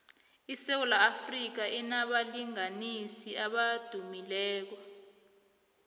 isewula afrika inabalingiswa abadumileko